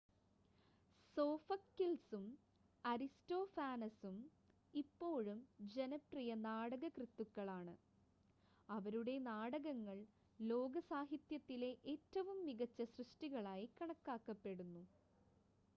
സോഫക്കിൾസും അരിസ്റ്റോഫാനസും ഇപ്പോഴും ജനപ്രിയ നാടകകൃത്തുക്കളാണ് അവരുടെ നാടകങ്ങൾ ലോക സാഹിത്യത്തിലെ ഏറ്റവും മികച്ച സൃഷ്ടികളായി കണക്കാക്കപ്പെടുന്നു